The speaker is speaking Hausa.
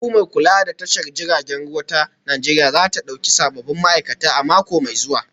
Hukumar kula da tashar jiragen ruwa ta Najeriya za ta dauki sabbin ma'aikata a mako mai zuwa